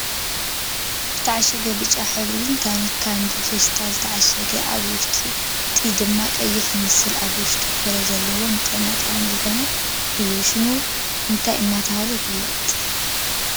ዝተዓሸገ ብጫ ሕብሩ ታኒካን ብፌስታል ዝተዓሸገ ኣብ ውሽጢ ድማ ቀይሕ ዝመስል ኣብ ውሽጡ ፍረ ዘለዎ ንጥዕና ጠቃሚ ዝኮነ እዩ። ሽሙ እንታይ እናተባህለ ይፍለጥ?